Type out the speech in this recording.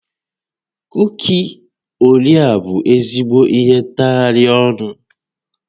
Kuki Orea bụ ezigbo ihe ntagharị ọnụ